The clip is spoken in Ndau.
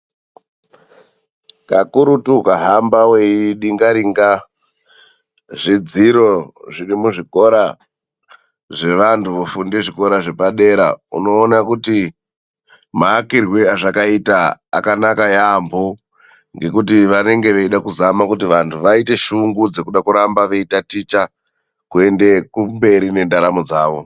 Kakurutu ukahamba weidingaringa zvidziro zvezvikora zvevandu vofunda zvikora zvepadera, unooa kuti maakirwo azvakaita akanaka yaamho ngekuti vanenge veida kuzama kuti vantu vaite shungu dzekuda kuramba veitaticha kuende kumberi nendaramo dzavo.